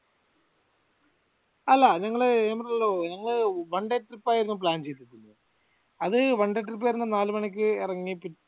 അല്ല ഞങ്ങള് ഞാൻ പറഞ്ഞല്ലോ ഞങ്ങള് one day trip ആയിരുന്നു plan ചെയ്തിരുന്നത് അത് one day trip ആയിരുന്നു നാലുമണിക്ക് എറങ്ങി